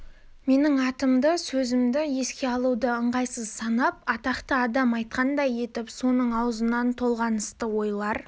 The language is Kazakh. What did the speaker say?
менің атымды сөзімді еске алуды ыңғайсыз санап атақты адам айтқандай етіп соның аузынан толғанысты ойлар